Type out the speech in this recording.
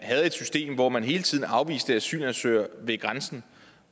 et system hvor man hele tiden afviste asylansøgere ved grænsen